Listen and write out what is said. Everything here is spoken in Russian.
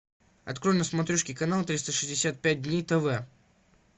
открой на смотрешке канал триста шестьдесят пять дней тв